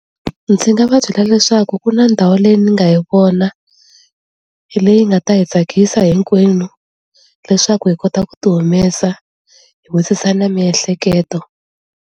Ndzi nga va byela leswaku ku na ndhawu leyi ni nga yi vona, hi leyi nga ta hi tsakisa hinkwenu, leswaku hi kota ku ti humesa hi wisisa na miehleketo.